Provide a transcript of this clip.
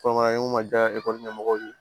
Kɔnɔ n'u ma diya ekɔli ɲɛmɔgɔw ye